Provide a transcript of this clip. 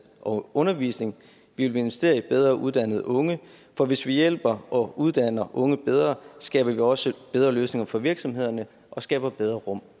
og undervisning vi vil investere i bedre uddannede unge for hvis vi hjælper og uddanner unge bedre skaber vi også bedre løsninger for virksomhederne og skaber bedre rum